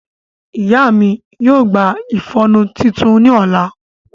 Iya mi yoo gba iƒọnu titun ni ọla.